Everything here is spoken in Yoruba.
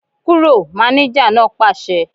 Kúrò! Mánéjà náà pàṣẹ